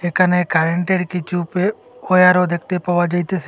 এখানে কারেন্টের কিছু পে অয়ারও দেখতে পাওয়া যাইতেসে।